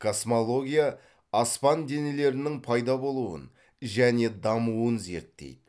космология аспан денелерінің пайда болуын және дамуын зертейді